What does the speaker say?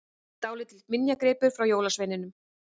Dálítill minjagripur frá jólasveininum!